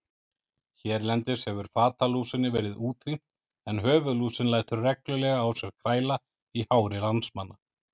Hérlendis hefur fatalúsinni verið útrýmt en höfuðlúsin lætur reglulega á sér kræla í hári landsmanna.